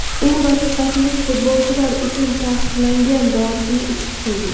U rafiqasining futbolchilar uchun taqiqlangan dorisini ichib qo‘ygan.